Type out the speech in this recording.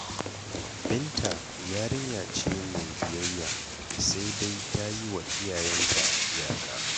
Binta yarinya ce mai biyayya, sai dai ta yi wa iyayenta iyaka.